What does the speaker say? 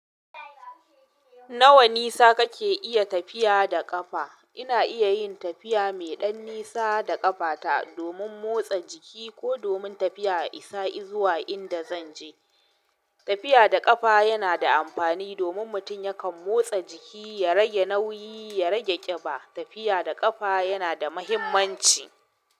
Nawa nisa kake iya tafiya da ƙafa? Ina iya yin tafiya mai ɗan nisa da ƙafata domin motsa jiki ko domin tafiya a isa izuwa inda zan je. Tafiya da ƙafa yana da amfani domin mutum yakan motsa jiki, ya rage nauyi, ya rage ƙiba. Tafiya da ƙafa yana da muhimmanci.